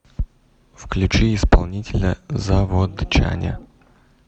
включи исполнителя заводчане